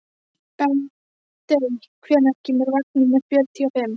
Bentey, hvenær kemur vagn númer fjörutíu og fimm?